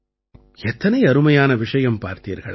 எத்தனை அருமையான விஷயம் பார்த்தீர்களா